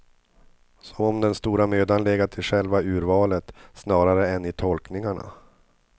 Som om den stora mödan legat i själva urvalet, snarare än i tolkningarna.